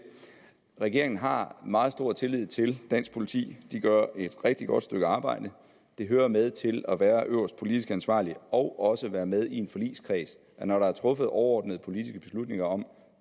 regeringen har meget stor tillid til dansk politi de gør et rigtig godt stykke arbejde det hører med til at være øverst politisk ansvarlig og også til at være med i en forligskreds at når der er truffet overordnede politiske beslutninger om